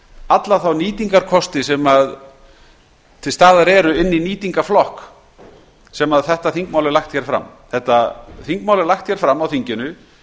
alla þá nýtingarkosti sem til staðar eru inni í nýtingarflokk sem þetta þingmál er lagt hér fram þetta þingmál er lagt fram á þinginu